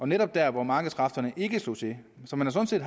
netop der hvor markedskræfterne ikke slog til så man har sådan